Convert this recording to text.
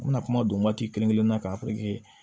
N bɛna kuma don waati kelen kelen na kan